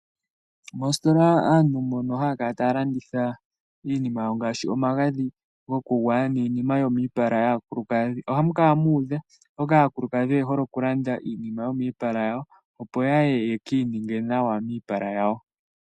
Mostola aantu mbono haya kala taya landitha iinima yawo ngaashi omagadhi gokugwaya niinima yomiipala yaakulukadhi ohamu kala muudha oshoka aakulukadhi oye hole oku landa iinima yomiipala yawo opo yaye yekiininge nawa miipala yawo.